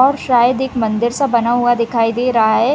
और शायद एक मंदिर सा बना हुआ दिखाई दे रहा है।